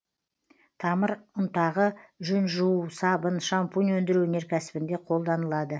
тамыр ұнтағы жүн жуу сабын шампунь өндіру өнеркәсібінде қолданылады